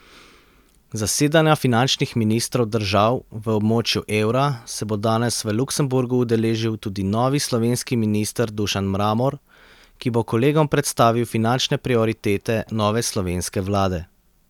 Zasedanja finančnih ministrov držav v območju evra se bo danes v Luksemburgu udeležil tudi novi slovenski minister Dušan Mramor, ki bo kolegom predstavil finančne prioritete nove slovenske vlade.